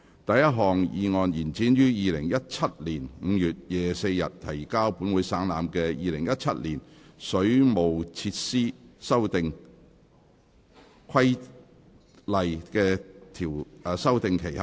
第一項議案：延展於2017年5月24日提交本會省覽的《2017年水務設施規例》的修訂期限。